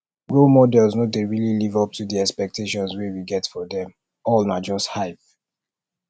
role models no dey really live up to the expectations wey we get for them all na just hype